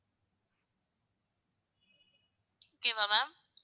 okay வா ma'am